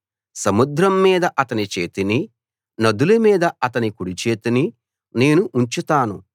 సముద్రం మీద అతని చేతినీ నదుల మీద అతని కుడిచేతినీ నేను ఉంచుతాను